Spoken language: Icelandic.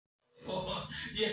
En hvernig er búlgarska liðið?